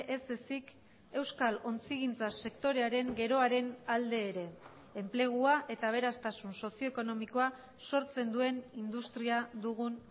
ez ezik euskal ontzigintza sektorearen geroaren alde ere enplegua eta aberastasun sozio ekonomikoa sortzen duen industria dugun